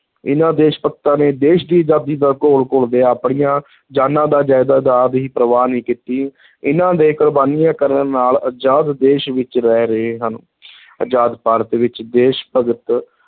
ਇਨ੍ਹਾਂ ਦੇਸ਼-ਭਗਤਾਂ ਨੇ ਦੇਸ਼ ਦੀ ਆਜ਼ਾਦੀ ਦਾ ਘੋਲ ਘੁਲਦਿਆਂ ਆਪਣੀਆਂ ਜਾਨਾਂ ਦਾ ਦੀ ਪ੍ਰਵਾਹ ਨਹੀਂ ਕੀਤੀ ਇਨ੍ਹਾਂ ਦੇ ਕੁਰਬਾਨੀਆਂ ਕਰਨ ਨਾਲ ਆਜ਼ਾਦ ਦੇਸ਼ ਵਿਚ ਰਹਿ ਰਹੇ ਹਨ ਅਜ਼ਾਦ ਭਾਰਤ ਵਿਚ ਦੇਸ਼-ਭਗਤ